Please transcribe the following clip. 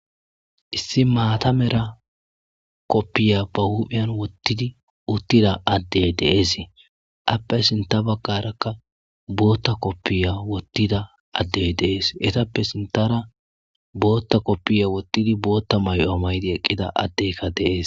Issi mata mera koppiya ba huphiyan otiduttida addey dee'es appe sinta bagarakka bota kopiya wotida adey de'es etappe sintara bota kopiya wottidi bota may'o maydi eqqida addeykka de'es.